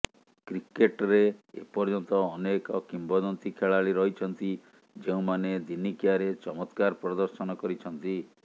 କ୍ରିକେଟରେ ଏ ପର୍ଯ୍ୟନ୍ତ ଅନେକ କିମ୍ବଦନ୍ତି ଖେଳାଳି ରହିଛନ୍ତି ଯେଉଁମାନେ ଦିନିକିଆରେ ଚମତ୍କାର ପ୍ରଦର୍ଶନ କରିଛନ୍ତି